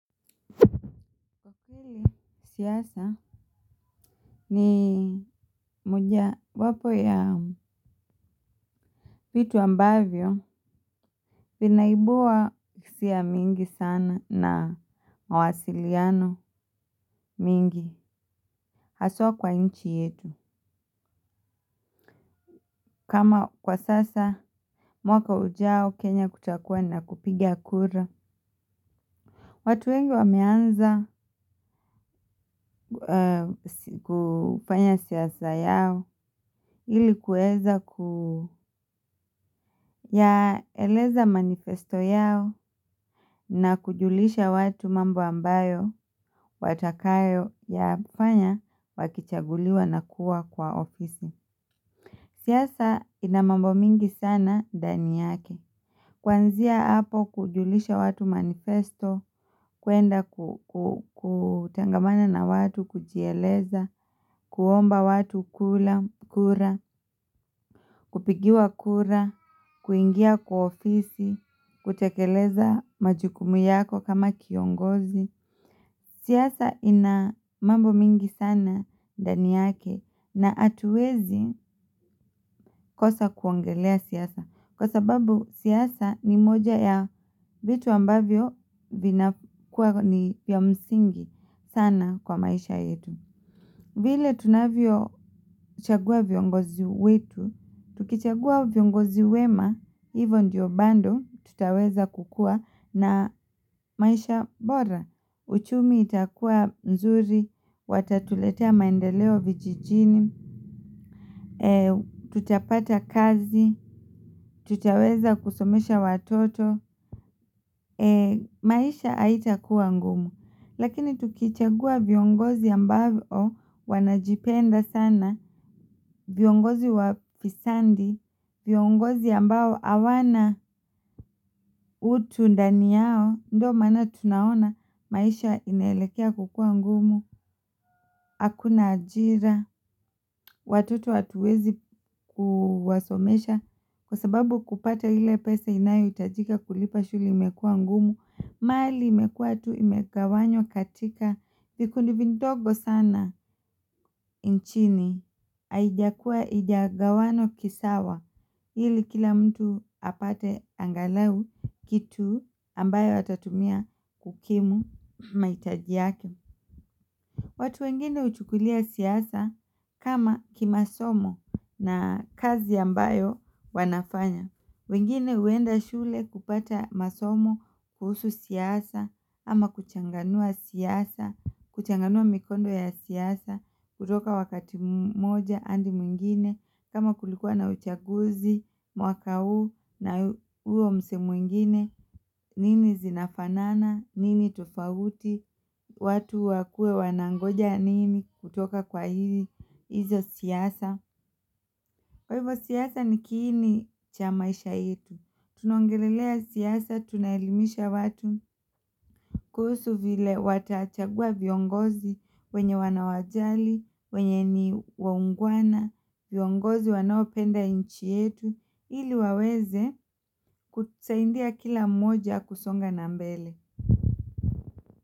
Hili siasa ni mojawapo ya vitu ambavyo vinaimbua hisia mingi sana na mawasiliano mingi haswa kwa nchi yetu. Kama kwa sasa mwaka ujao kenya kutakuwa na kupiga kura. Watu wengi wameanza kufanya siasa yao. Hili kuweza ku ya eleza manifesto yao na kujulisha watu mambo ambayo, watakayo ya fanya wakichaguliwa na kuwa kwa ofisi. Siasa inamambo mingi sana ndani yake. Kwanzia hapo kujulisha watu manifesto, kuenda kutangamana na watu, kujieleza, kuomba watu kura, kupigiwa kura, kuingia kwa ofisi, kutekeleza majukumu yako kama kiongozi. Siasa ina mambo mingi sana ndani yake na atuwezi kosa kuongelea siasa. Kwa sababu siasa ni moja ya vitu ambavyo vina kuwa ni vya msingi sana kwa maisha yetu. Vile tunavyo chagua viongozi wetu, tukichagua viongozi wema, hivyo ndiyo bando tutaweza kukuwa na maisha bora uchumi itakuwa nzuri watatuletea maendeleo vijijini tutapata kazi tutaweza kusomesha watoto maisha haitakuwa ngumu. Lakini tukichagua viongozi ambayo wanajipenda sana viongozi wa fisandi. Viongozi ambao awana utu ndani yao. Ndo maana tunaona maisha inaelekea kukua ngumu. Hakuna ajira. Watoto hatuwezi kuwasomesha. Kwa sababu kupata hile pesa inayo itajika kulipa shule imekuwa ngumu. Mali imekua tu imegawanywa katika vikundivindogo sana. Nchini haijakua hijagawanwa kisawa hili kila mtu apate angalau kitu ambayo atatumia kukimu maitaji yake. Watu wengine uchukulia siasa kama kimasomo na kazi ambayo wanafanya. Wengine uenda shule kupata masomo kuhusu siasa ama kuchanganua siasa kuchanganua mikondo ya siasa kutoka wakati moja hadi mwingine kama kulikuwa na uchaguzi mwaka huu na huo msee mwingine nini zinafanana, nini tofauti, watu wakue wanangoja nini kutoka kwa hizi, hizo siasa. Kwa hivyo siasa ni kiini cha maisha yetu, tunaongelelea siysa, tunaelimisha watu, kuhusu vile watachagua viongozi wenye wanawajali, wenye ni waungwana, viongozi wanaopenda inchi yetu, ili waweze kutusaindia kila mmoja kusonga na mbele.